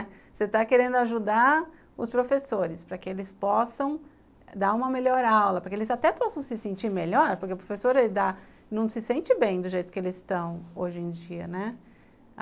Você está querendo ajudar os professores para que eles possam dar uma melhor aula, para que eles até possam se sentir melhor, porque o professor ele dá, não se sente bem do jeito que eles estão hoje em dia, né?